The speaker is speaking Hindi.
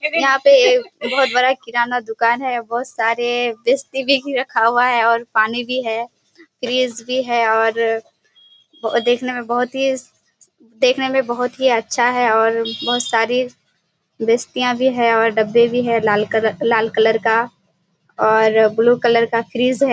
यहाँ पे एक बहुत बड़ा किराना दुकान है। बहुत सारे भी रखा हुआ है और पानी भी है। फ्रिज भी है और देखने में बहुत ही देखने में बहुत ही अच्छा है और बहुत सारी भी है और डब्बे भी है लाल कलर का और ब्लू कलर का फ्रिज है।